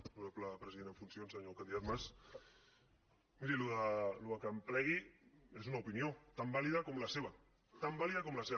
honorable president en funcions senyor candidat mas miri això que plegui és una opinió tan vàlida com la seva tan vàlida com la seva